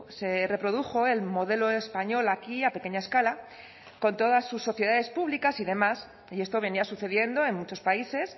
se reprodujo el modelo español aquí a pequeña escala con todas sus sociedades públicas y demás y esto venía sucediendo en muchos países